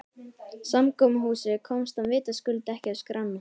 Samkomuhúsið komst hann vitaskuld ekki á skrána.